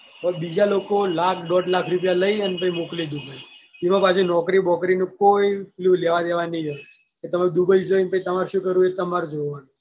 બીજા લોકો લાખ દોઢ લાખ રુપયા લઈને મોકલી દીધો છે એમાં પાહુ નોકરી બોકરી નું કોઈ લેવા દેવા નઈ પછી તમે dubai જઈને તમારે શું કરવાનું એ તમારે જોવાનું.